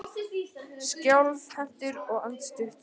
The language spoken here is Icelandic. Skjálfhentur og andstuttur.